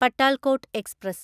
Patalkot express